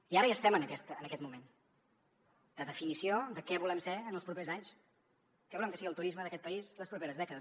i ara ja estem en aquest moment de definició de què volem ser en els propers anys què volem que sigui el turisme d’aquest país les properes dècades